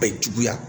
Bɛ juguya